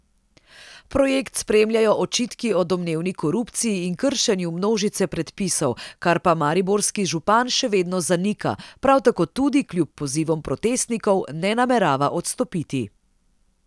Projekt spremljajo očitki o domnevni korupciji in kršenju množice predpisov, kar pa mariborski župan še vedno zanika, prav tako tudi, kljub pozivom protestnikov, ne namerava odstopiti.